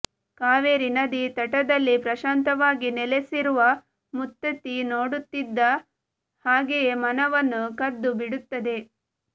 ಕಾವೇರಿ ನದಿ ತಟದಲ್ಲಿ ಪ್ರಶಾಂತವಾಗಿ ನೆಲೆಸಿರುವ ಮುತ್ತತ್ತಿ ನೋಡುತ್ತಿದ್ದ ಹಾಗೆಯೆ ಮನವನ್ನು ಕದ್ದು ಬಿಡುತ್ತದೆ